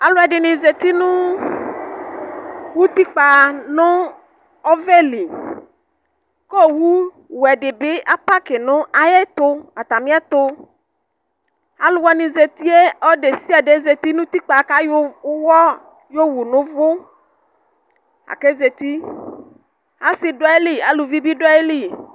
Alu ɛdɩnɩ zǝti nʋ utikpǝ nʋ ɔvɛ li, kʋ owuwɛ di bɩ apakɩ nʋ atami ɛtʋ Ɔlʋ desiade zǝti nʋ utikpǝ kʋ ayɔ ʋwɔ yowu nʋ uvu, akʋ azǝti Asi du ayili akʋ aluvi bɩ du ayili